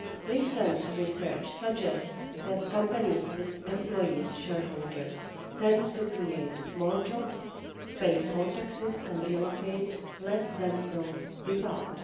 Recent research suggests that companies with employee shareholders tend to create more jobs, pay more taxes and relocate less than those without.